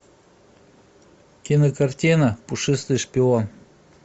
кинокартина пушистый шпион